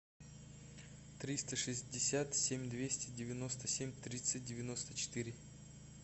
триста шестьдесят семь двести девяносто семь тридцать девяносто четыре